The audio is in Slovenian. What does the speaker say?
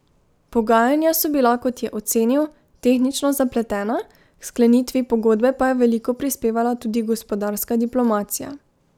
Pogajanja so bila, kot je ocenil, tehnično zapletena, k sklenitvi pogodbe pa je veliko prispevala tudi gospodarska diplomacija.